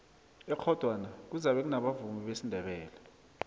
ekghodwana kuzabe kunabavumi besindebele